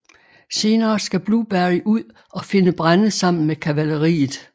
Senere skal Blueberry ud og finde brænde sammen med kavaleriet